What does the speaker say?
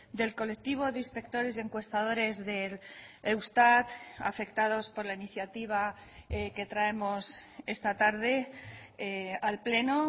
del colectivo de inspectores y encuestadores del eustat afectados por la iniciativa que traemos esta tarde al pleno